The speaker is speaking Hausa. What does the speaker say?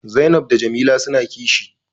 Zainab da Jamila suna kishi